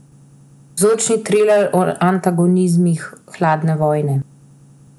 Vzorčni triler o antagonizmih hladne vojne.